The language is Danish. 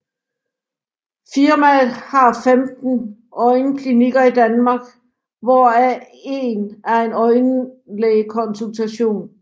Firmaet har 15 øjenklinikker i Danmark hvor af en er en øjenlægekonsultation